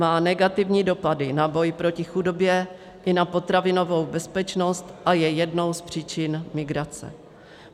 Má negativní dopady na boj proti chudobě i na potravinovou bezpečnost a je jednou z příčin migrace.